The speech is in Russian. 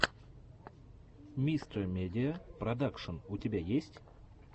мистэ медиа продакшен у тебя есть